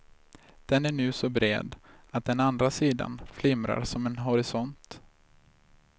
Den är nu så bred att den andra sidan flimrar som en horisont.